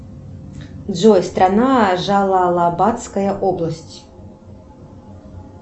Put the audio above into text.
джой страна джалалабадская область